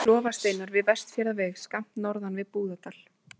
Klofasteinar við Vestfjarðaveg, skammt norðan við Búðardal.